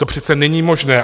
To přece není možné.